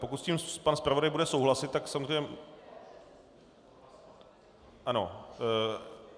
Pokud s tím pan zpravodaj bude souhlasit, tak samozřejmě - Ano.